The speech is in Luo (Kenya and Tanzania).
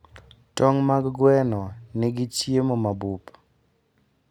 Tong' mag gwen nigi chiemo mabup.